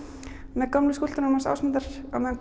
með gömlu skúlptúrunum hans Ásmundar á meðan